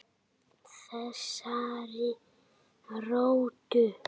Þessari rottu.